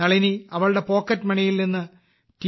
നളിനി അവളുടെ പോക്കറ്റ് മണിയിൽ നിന്ന് ടി